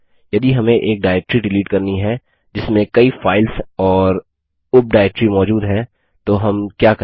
यदि हमें एक डाइरेक्टरी डिलीट करनी है जिसमें कई फाइल्स और उप डाइरेक्टरी मौजूद है तो हम क्या करें